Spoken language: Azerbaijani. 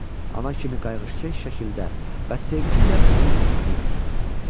Ana kimi qayğıkeş şəkildə və sevgi ilə onun üstünü örtdü.